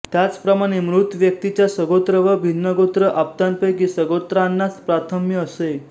त्याचप्रमाणे मृत व्यक्तीच्या सगोत्र व भिन्नगोत्र आप्तांपैकी सगोत्रांनाच प्राथम्य असे